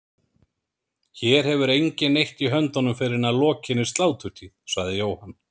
Hér hefur enginn neitt í höndunum fyrr en að lokinni sláturtíð, sagði Jóhann.